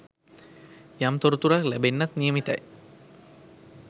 යම් තොරතුරක් ලැබෙන්නත් නියමිතයි.